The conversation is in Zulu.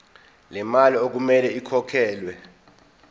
lemali okumele ikhokhelwe